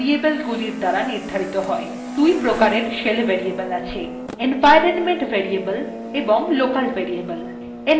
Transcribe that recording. দুই প্রকারের shell variable আছে: